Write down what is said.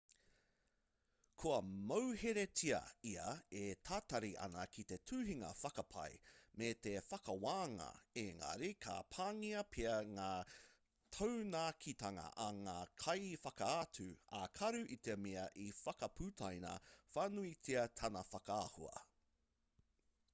kua mauheretia ia e tatari ana ki te tuhinga whakapae me te whakawānga engari ka pāngia pea ngā taunakitanga a ngā kaiwhakaatu ā-karu i te mea i whakaputaina whānuitia tana whakaahua